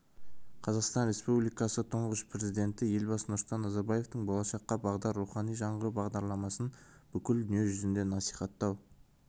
қазақстан республикасы тұңғыш президенті елбасы нұрсұлтан назарбаевтың болашаққа бағдар рухани жаңғыру бағдарламасын бүкіл дүние жүзіне насихаттау